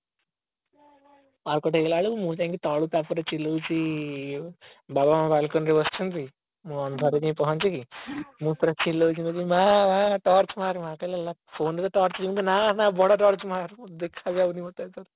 power cut ହେଇଗଲା ବେଳକୁ ମୁଁ ତାପରେ ତଳକୁ ତାପରେ ଚିଲଉଛି ବାବା ଆମର balcony ରେ ବସିଛନ୍ତି ମୁଁ ଅନ୍ଧାରରେ ଯାଇକି ପହଞ୍ଚିକି ମୁଁ ପୁରା ଚିଲଉଛି କହୁଛି ମାଆ ମାଆ torch ମରେ ମାଆ କହିଲା phone ରେ ଯ torch ଅଛି ମୁଁ କହିଲି ନା ନା ବଡ troch ମାରେ ଦେଖା ଯାଉନି ମତେ